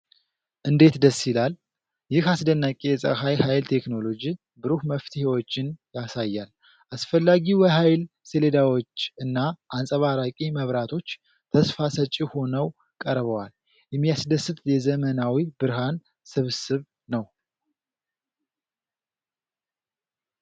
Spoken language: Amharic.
እንዴት ደስ ይላል! ይህ አስደናቂ የፀሐይ ኃይል ቴክኖሎጂ ብሩህ መፍትሄዎችን ያሳያል። አስፈላጊው የኃይል ሰሌዳዎች እና አንፀባራቂ መብራቶች ተስፋ ሰጪ ሆነው ቀርበዋል። የሚያስደስት የዘመናዊ ብርሃን ስብስብ ነው!